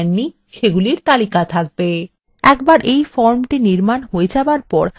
একবার এই ফর্মটি নির্মান হয়ে যাবার পর আমরা ফর্মটি পরিবর্তনও করতে পারবো